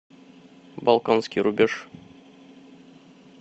балканский рубеж